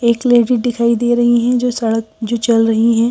एक लेडी दिखाई दे रही है जो सड़क जो चल रही हैं।